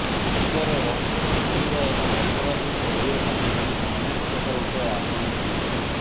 ହତ୍ୟାର ରହସ୍ୟକୁ ଖୋଲିବା ଏବଂ ଅପରାଧୀଙ୍କୁ ଧରିବା ପାଇଁ ପୋଲିସ ଅନେକ ପ୍ରକାର ଉପାୟ ଆପଣେଇଥାନ୍ତି